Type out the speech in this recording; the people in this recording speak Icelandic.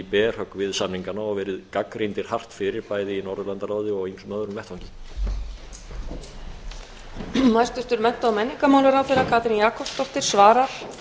berhögg við samningana og verið gagnrýndir hart fyrir bæði í norðurlandaráði og ýmsum öðrum vettvangi